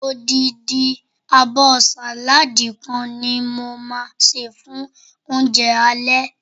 odindi abo saladi kan ni mo ma se fun ounje ale